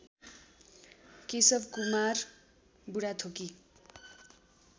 Keshav Kumar Budhathoki